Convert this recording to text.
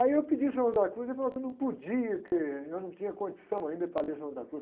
Aí eu pedi o San Juan de la Cruz e ele falou que eu não podia, que eu não tinha condição ainda para ler San Juan de la Cruz.